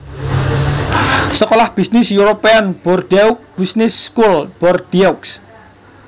Sekolah bisnis European Bordeaux Business School Bordeaux